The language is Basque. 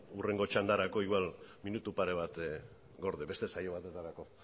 hurrengo txandarako igual minutu pare bat gorde beste saio batetarako